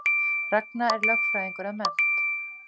Ragna er lögfræðingur að mennt